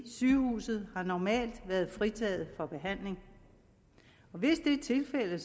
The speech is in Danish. sygehusene har normalt været fritaget for behandling og hvis det er tilfældet